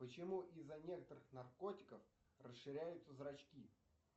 почему из за некоторых наркотиков расширяются зрачки